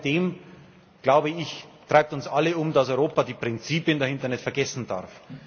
Trotz alledem, glaube ich, treibt uns alle um, dass Europa die Prinzipien dahinter nicht vergessen darf.